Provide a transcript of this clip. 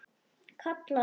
kallar hann.